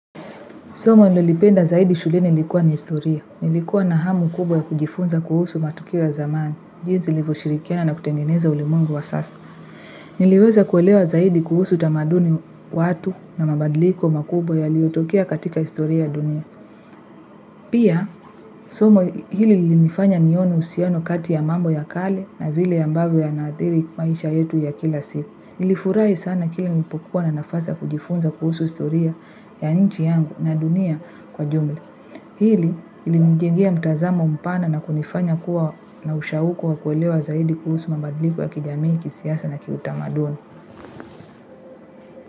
Somo nililopenda zaidi shuleni ni historia nilikuwa na hamu kubwa ya kujifunza kuhusu matukio ya zamani. Jinsi ilivyoshirikiana na kutengeneza ulimwengu wa sasa niliweza kuelewa zaidi kuhusu tamaduni watu na mabadliko makubwa yaliyotokea katika historia ya dunia. Pia, somo hili lilinifanya nione uhusiano kati ya mambo ya kale na vile ambavyo yanadhiri maisha yetu ya kila siku. Nilifurahi sana kila nilipokuwa na nafasi ya kujifunza kuhusu historia ya nchi yangu na dunia kwa jumla. Hili, ilinijengea mtazamo mpana na kunifanya kuwa na ushauku wa kuelewa zaidi kuhusu mabadiliko ya kijamii kisiasa na kiutamaduni.